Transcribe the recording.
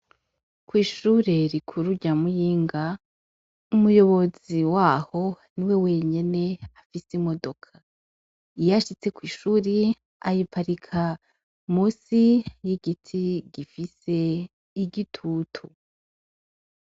Kw'ishure rikuru rya Muyinga, umuyobozi waho niwe wenyene afise imodoka. Iyo ashitse kw'ishure ayiparika musi y'igiti gifise igitutu.